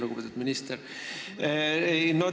Lugupeetud minister!